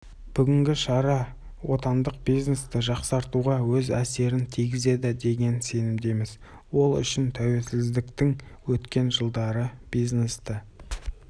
бүгінгі шара отандық бизнесті жақсартуға өз әсерін тигізеді деген сенімдеміз ол үшін тәуелсіздіктің өткен жылдары бизнесті